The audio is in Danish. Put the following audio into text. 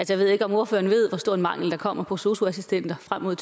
jeg ved ikke om ordføreren ved hvor stor en mangel der kommer på sosu assistenter frem mod